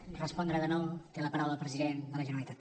per respondre de nou té la paraula el president de la generalitat